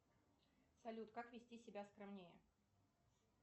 салют как вести себя скромнее